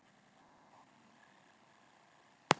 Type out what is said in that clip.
Kemur aftur með flennistóra, svarthvíta mynd.